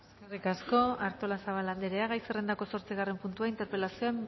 eskerrik asko artolazabal andrea gai zerrendako zortzigarren puntua interpelazioa